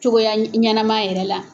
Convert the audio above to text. Cogoya ɲɛnama yɛrɛ la.